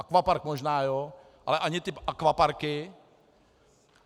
Akvapark možná jo, ale ani ty akvaparky.